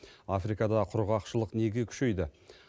африкада құрғақшылық неге күшейді